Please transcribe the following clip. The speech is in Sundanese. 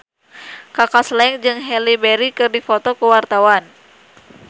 Kaka Slank jeung Halle Berry keur dipoto ku wartawan